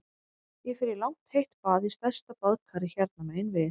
Ég fer í langt heitt bað í stærsta baðkari hérna megin við